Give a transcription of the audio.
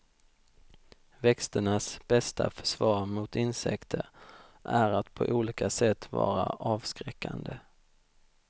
Växternas bästa försvar mot insekter är att på olika sätt vara avskräckande.